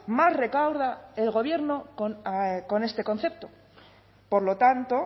más recauda el gobierno con este concepto por lo tanto